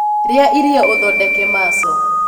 Rĩa irio ũthondeke maco